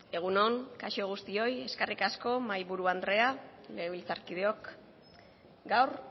egun on kaixo guztioi eskerrik asko mahaiburu andreak legebiltzarkideok gaur